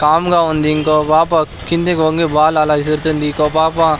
Com గా ఉంది ఇంకో పాప కిందికి వంగి బాల్ అలా విసురుతుంది ఇంకో పాప.